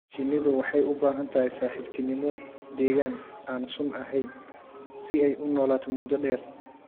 Shinnidu waxay u baahan tahay saaxiibtinimo, deegaan aan sun ahayn si ay u noolaato muddo dheer.